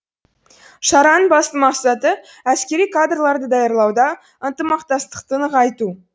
шараның басты мақсаты әскери кадрларды даярлауда ынтымақтастықты нығайту